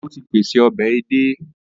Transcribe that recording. Ó ti pèse ọbẹ̀ edé